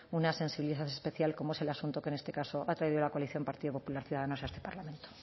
una sensibilidad especial como es el asunto que en este caso ha traído la coalición partido popular ciudadanos a este parlamento